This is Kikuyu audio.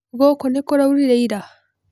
Gũkũ nĩ kũraurire ira?